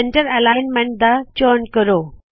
centre alignment ਦਾ ਚੌਣ ਕਰੋ